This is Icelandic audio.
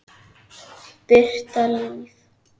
Birta Líf.